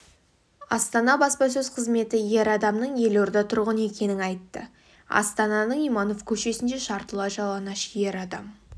астана баспасөз қызметі ер адамның елорда тұрғыны екенін айтты астананың иманов көшесінде жартылай жалаңаш ер адам